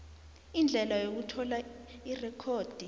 indlela yokuthola irekhodi